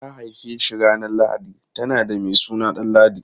Don ta haife shi ranar lahadi, ta naɗa mai suna Danladi.